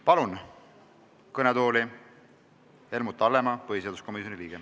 Palun kõnetooli Helmut Hallemaa, põhiseaduskomisjoni liikme.